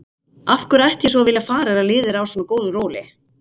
Af hverju ætti ég svo að vilja fara þegar liðið er á svona góðu róli?